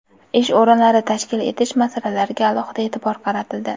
ish o‘rinlari tashkil etish masalalariga alohida e’tibor qaratildi.